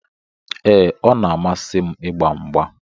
Ee, ọ na-amasị m ịgba mgba.